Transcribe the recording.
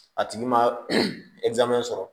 A tigi ma sɔrɔ